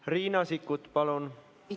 Riina Sikkut, palun!